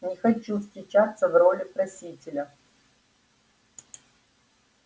не хочу встречаться в роли просителя